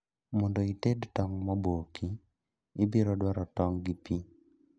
Mondo ited tong' moboki, ibiro dwaro tong' gi pii